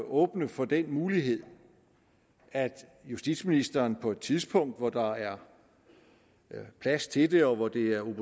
åbne for den mulighed at justitsministeren på et tidspunkt hvor der er plads til det og hvor det er